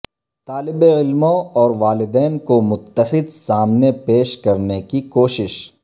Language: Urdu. طالب علموں اور والدین کو متحد سامنے پیش کرنے کی کوشش